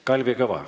Kalvi Kõva.